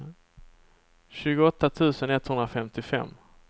tjugoåtta tusen etthundrafemtiofem